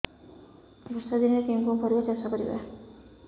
ବର୍ଷା ଦିନରେ କେଉଁ କେଉଁ ପରିବା ଚାଷ କରିବା